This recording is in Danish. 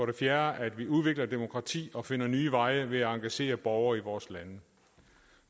det fjerde er at vi udvikler demokrati og finder nye veje ved at engagere borgere i vores lande